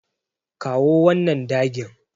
Kawo wannan dagin.